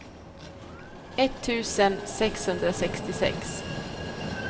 etttusen sexhundrasextiosex